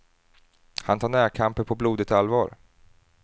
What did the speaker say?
Han tar närkamper på blodigt allvar.